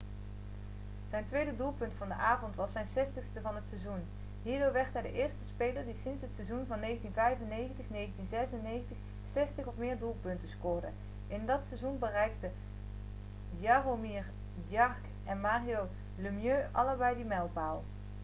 zijn tweede doelpunt van de avond was zijn 60ste van het seizoen hierdoor werd hij de eerste speler die sinds het seizoen van 1995-1996 zestig of meer doelpunten scoorde in dat seizoen bereikten jaromir jagr en mario lemieux allebei die mijlpaal